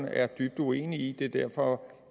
er dybt uenig i det er derfor